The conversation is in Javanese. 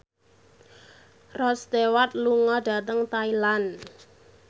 Rod Stewart lunga dhateng Thailand